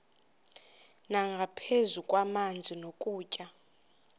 nangaphezu kwamanzi nokutya